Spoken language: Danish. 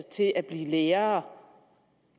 til at blive lærer